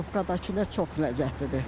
Karobkadakılar çox ləzzətlidir.